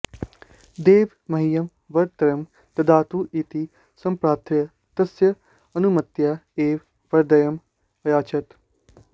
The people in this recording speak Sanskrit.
देव मह्यं वरत्रयं ददातु इति सम्प्रार्थ्य तस्य अनुमत्या एवं वरद्वयम् अयाचत